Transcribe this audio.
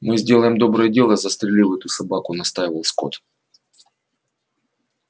мы сделаем доброе дело застрелив эту собаку настаивал скотт